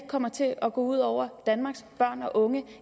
kommer til at gå ud over danmarks børn og unge